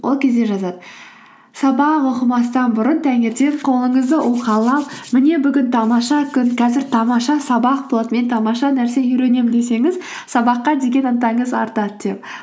ол кезде жазады сабақ оқымастан бұрын таңертең қолыңызды ұқалап міне бүгін тамаша күн қазір тамаша сабақ болады мен тамаша нәрсе үйренемін десеңіз сабаққа деген ынтаңыз артады деп